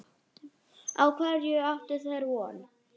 Á hverju áttu þeir von?